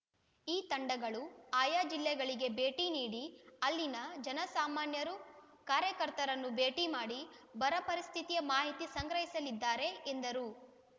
ಈ ತಂಡಗಳು ಆಯಾ ಜಿಲ್ಲೆಗಳಿಗೆ ಭೇಟಿ ನೀಡಿ ಅಲ್ಲಿನ ಜನಸಾಮಾನ್ಯರು ಕಾರ್ಯಕರ್ತರನ್ನು ಭೇಟಿ ಮಾಡಿ ಬರ ಪರಿಸ್ಥಿತಿಯ ಮಾಹಿತಿ ಸಂಗ್ರಹಿಸಲಿದ್ದಾರೆ ಎಂದರು